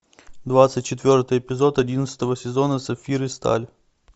двадцать четвертый эпизод одиннадцатого сезона сапфир и сталь